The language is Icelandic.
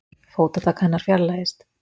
Fótatak hennar fjarlægist.